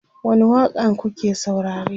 wani waƙa n kuke saurare?